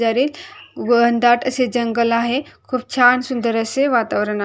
दरीत घन दाट असे जंगल आहे खूप छान सुंदर असे वातावरण--